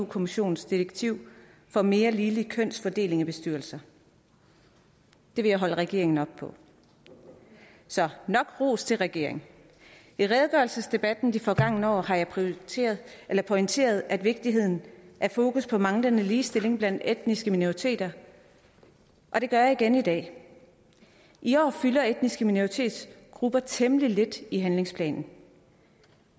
kommissionens direktiv for mere ligelig kønsfordeling i bestyrelser det vil jeg holde regeringen op på så nok ros til regeringen i redegørelsesdebatten de forgangne år har jeg pointeret jeg pointeret vigtigheden af fokus på manglende ligestilling blandt etniske minoriteter og det gør jeg igen i dag i år fylder etniske minoritetsgrupper temmelig lidt i handlingsplanen